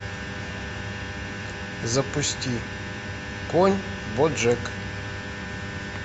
запусти конь боджек